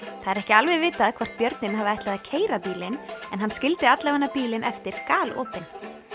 það er ekki alveg vitað hvort björninn hafi ætlað að keyra bílinn en hann skildi bílinn eftir galopinn